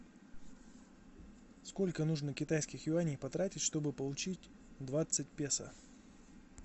сколько нужно китайских юаней потратить чтобы получить двадцать песо